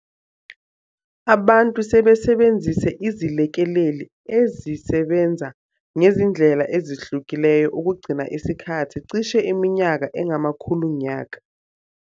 Abantu sebesebenzise izilekeleli ezisebenza ngezindlela ezehlukileyo ukugcina isikhathi cishe iminyaka engamakhulunyaka.